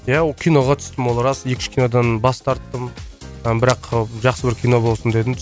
иә ол киноға түстім ол рас екі үш кинодан бас тарттым ы бірақ жақсы бір кино болсын дедім